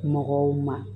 Mɔgɔw ma